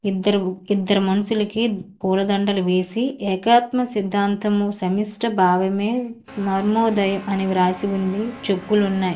ఇద్దరు ఇద్దరు మనుషులకి పూలదండలు వేసి ఏకాత్మ సిద్ధాంతము సెమిస్ట భావమే మరిమోదయ అని వ్రాసి ఉంది చెప్పులు ఉన్నాయి.